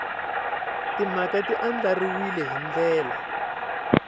timhaka ti andlariwile hi ndlela